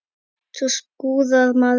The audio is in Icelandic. Svo skúrar maður.